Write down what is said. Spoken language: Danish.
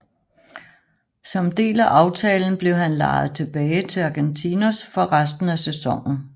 Som del af aftalen blev han lejet tilbage til Argentinos for resten af sæsonen